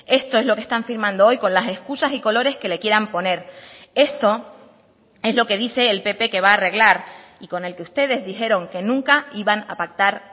esto es lo que están firmando hoy con las excusas y colores que le quieran poner esto es lo que dice el pp que va a arreglar y con el que ustedes dijeron que nunca iban a pactar